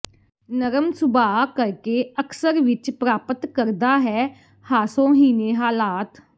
ਨਰਮ ਸੁਭਾਅ ਕਰਕੇ ਅਕਸਰ ਵਿੱਚ ਪ੍ਰਾਪਤ ਕਰਦਾ ਹੈ ਹਾਸੋਹੀਣੇ ਹਾਲਾਤ